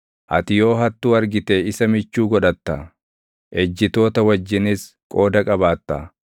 Ati yoo hattuu argite isa michuu godhatta; ejjitoota wajjinis qooda qabaatta.